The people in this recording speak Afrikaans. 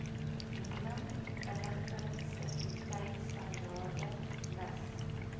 minimum inligtingsekuriteitstandaarde miss